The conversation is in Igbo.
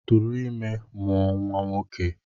Tụrụ ime mụọ nwa nwoke!